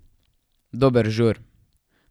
Dober žur.